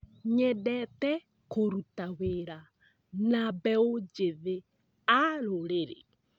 Nyendete kũruta wĩra na mbeũ njĩthĩ a rũrĩrĩ.